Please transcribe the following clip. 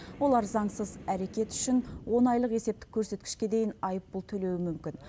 олар заңсыз әрекет үшін он айлық есептік көрсеткішке дейін айыппұл төлеуі мүмкін